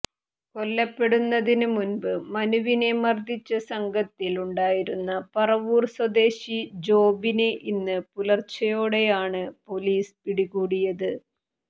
കൊല്ലപ്പെടുന്നതിന് മുമ്പ് മനുവിനെ മർദ്ദിച്ച സംഘത്തിൽ ഉണ്ടായിരുന്ന പറവൂർ സ്വദേശി ജോബിനെ ഇന്ന് പുലർച്ചയോടെയാണ് പൊലീസ് പിടികൂടിയത്